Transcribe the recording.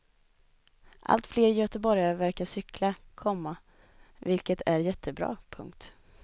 Allt fler göteborgare verkar cykla, komma vilket är jättebra. punkt